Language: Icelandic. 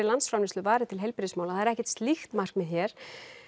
landsframleiðslu varið til heilbrigðismála það er ekkert slíkt markmið hér